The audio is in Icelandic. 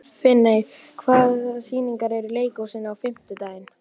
Finney, hvaða sýningar eru í leikhúsinu á fimmtudaginn?